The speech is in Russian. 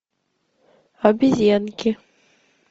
обезьянки